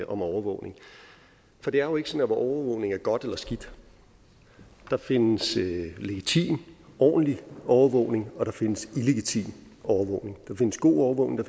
om overvågning for det er jo ikke sådan at overvågning er godt eller skidt der findes legitim ordentlig overvågning og der findes illegitim overvågning der findes god overvågning og